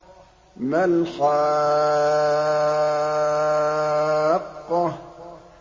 مَا الْحَاقَّةُ